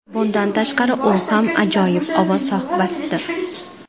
Bundan tashqari, u ham ajoyib ovoz sohibasidir.